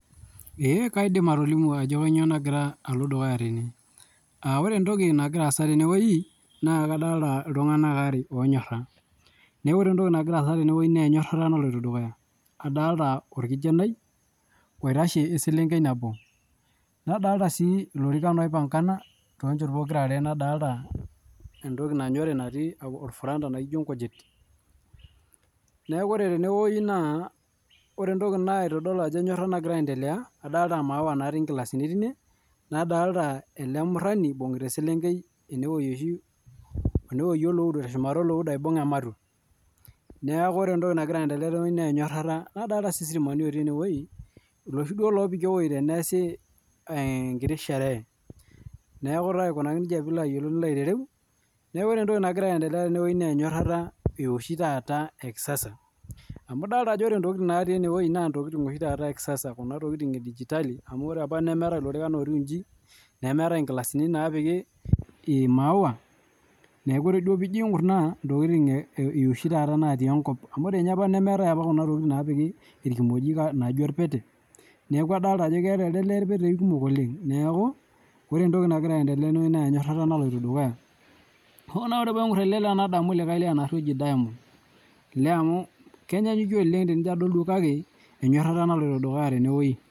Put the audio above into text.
Ee kaidim atolimu ajo nyoo naagira alo dukuya tene. Ore entoki nagira aasa teneweji naa kadolita iltunganak aare onyorra ,naa ore entoki nagira aasa teneweji naa enyorata naloito dukuya. Adolita olkijanai oitashe oselenkei nabo. Nadolita sii ilorikan oipangana tochoto pookira are Nadolita entoki nanyori natii olfuranda naijo inkujit. Neeku ore teneweji naa ore entoki naitodol ajo enyorata nagira aentelea, adolita imauwa natii inkilasini teine, nadolita a ale murani eibung'ita oselenkei enewueji oshi, ene wueji te shumata eleudo. Neeku ore entoki nagira aentelea adolita enyorata nadolita sii sipika oopiki eweji teneesi enkiti isheree, neaku ilo aiko neja piilo aitereu. Neaku ore entoki nagira endelea teneweji naa enyorata eoshi taata ekisasa. Amu idolita ajo ore intokitin natii eneweji naa intokitin oshi taata ekisasa, kuna tokitin edijitali, amu ore apa nemeetae lorikan ootiu inji, nemeetae inkilasini naapiki imauwa, neaku ore duo piijing' kunaa, ntokitin eoshi taata natii enkop, amu ore ninye apa nemeetae ninye apa kuna tokitin naapiki ilkumojik naijo ilpete. Neaku adolita ajo eata alde lee ilpetei kumok oleng, neaku ore entoki nagira aendelea teneweji naaku enyorata naloto dukuya. Naaku Ore naa paing'orr ale lee nadamu likae lee oshi naa oji Diamond ,olee amu Kenyanyukie oleng tenijo adol kake enyorata naloto dukuya teneweji.